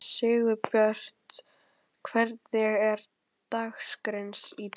Sigurbjört, hvernig er dagskráin í dag?